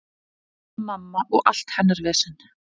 Hanna-Mamma og allt hennar vesen.